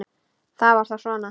Það var þá svona.